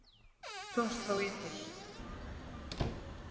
Svo sló ég til.